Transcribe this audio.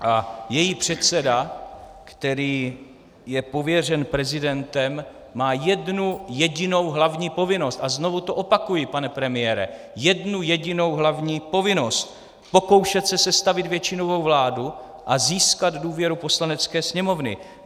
A její předseda, který je pověřen prezidentem, má jednu jedinou hlavní povinnost - a znovu to opakuji, pane premiére, jednu jedinou hlavní povinnost - pokoušet se sestavit většinovou vládu a získat důvěru Poslanecké sněmovny.